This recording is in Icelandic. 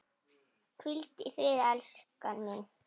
Hvíldu í friði, elskan mín.